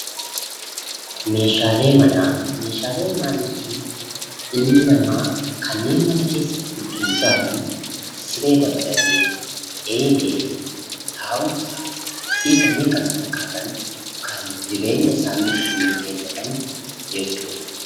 Meeshaalee Manaa Meeshaalee manaa jechuun ilmi namaa kanneen mana keessatti ittiin jiraatan siree dabalatee, eelee, taa'umsaa fi kanneen kana fakkaatan kan jireenya isaanii ittiin geggeeffatan jechuu dha.